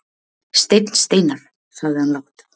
Steinn Steinarr, sagði hann lágt.